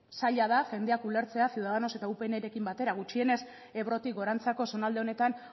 zaila da jendea ulertzea ciudadanos eta upnrekin batera gutxienez ebrotik gorantzako zonalde honetan